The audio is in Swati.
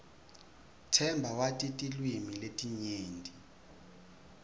themba wati tilwimi letinyenti